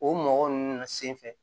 O mɔgɔ ninnu senfɛ